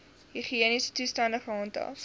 higiëniese toestande gehandhaaf